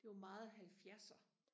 det var meget halvfjerser